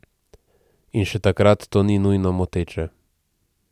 In še takrat to ni nujno moteče.